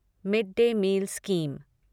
mid day meal scheme